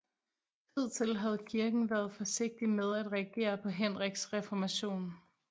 Hidtil havde kirken været forsigtig med at reagere på Henriks reformation